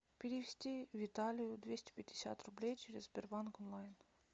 перевести виталию двести пятьдесят рублей через сбербанк онлайн